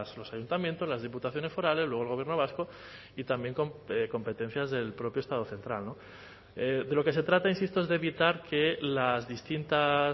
los ayuntamientos las diputaciones forales luego el gobierno vasco y también competencias del propio estado central de lo que se trata insisto es de evitar que las distintas